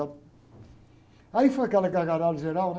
Aí foi aquela gargalhada geral, né?